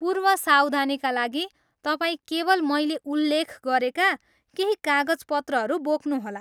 पूर्व सावधानीका लागि, तपाईँ केवल मैले उल्लेख गरेका केही कागजपत्रहरू बोक्नुहोला।